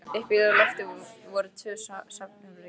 Uppi á lofti voru tvö svefnherbergi.